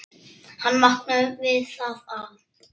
Hann vaknaði við það að